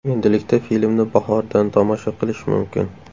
Endilikda filmni bahordan tomosha qilish mumkin.